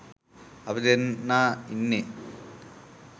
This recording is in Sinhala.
අපි දෙන්නා ඉන්නෙ